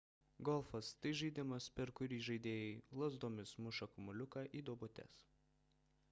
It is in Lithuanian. golfas – tai žaidimas per kurį žaidėjai lazdomis muša kamuoliukus į duobutes